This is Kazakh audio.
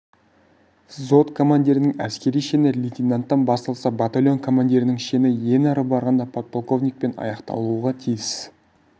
взвод командирінің әскери шені лейтенанттан басталса батальон командирінің шені ең ары барғанда подполковникпен аяқталуға тиіс